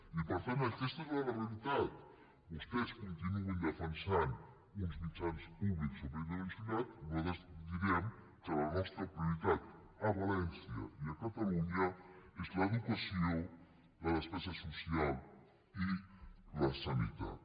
i per tant aquesta és la realitat vostès continuïn defensant uns mitjans públics sobredimensionats nosaltres direm que la nostra prioritat a valència i a catalunya és l’educació la despesa social i la sanitat